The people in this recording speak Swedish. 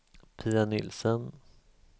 Pia Nielsen